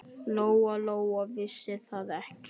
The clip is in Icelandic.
Lóa-Lóa vissi það ekki.